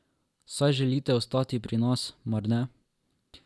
Saj želite ostati pri nas, mar ne?